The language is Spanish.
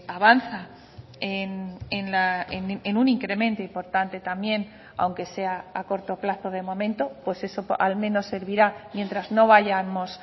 avanza en un incremento importante también aunque sea a corto plazo de momento pues eso al menos servirá mientras no vayamos